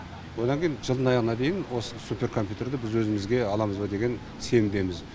одан кейін жылдың аяғына дейін осы суперкомпьютерді біз өзімізге аламыз ба деген сенімдеміз